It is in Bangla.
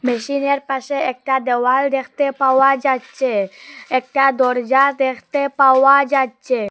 মেশিনের পাশে একটা দেওয়াল দেখতে পাওয়া যাচ্ছে একটা দরজা দেখতে পাওয়া যাচ্ছে।